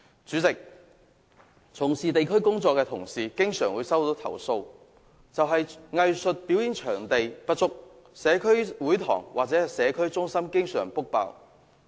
主席，從事地區工作的同事經常接獲投訴，指藝術表演場地不足，社區會堂或社區中心經常預約額滿。